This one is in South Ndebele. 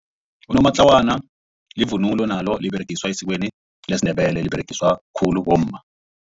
Unomatlawana livunulo nalo liberegiswa esikweni lesiNdebele liberegiswa khulu bomma.